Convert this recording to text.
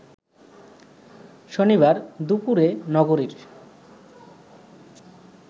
শনিবার দুপুরে নগরীর